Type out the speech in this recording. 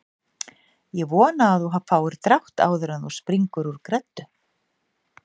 Ég vona að þú fáir drátt áður en þú springur úr greddu